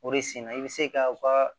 O de sen na i bɛ se ka u ka